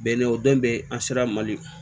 Bɛnɛ o den bɛ an sera mali